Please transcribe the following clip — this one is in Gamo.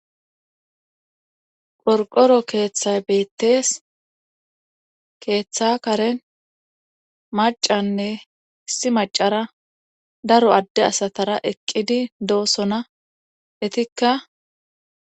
qorqoro keeththay beettees keeththa karen macanne issi macara daro adde asatara eqqidi doosona etikka